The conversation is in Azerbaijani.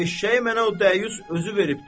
Eşşəyi mənə o dəyyus özü veribdir.